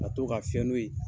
A to ka fɛn n'o ye